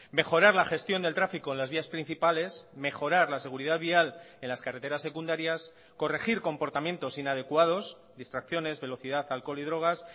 mejorar la gestión del tráfico en las vías principales mejorar la seguridad vial en las carreteras secundarias corregir comportamientos inadecuados distracciones velocidad alcohol y drogas